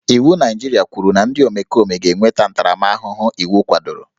Iwu Naịjirịa kwuru na ndị omekome ga-enweta ntaramahụhụ iwu kwadoro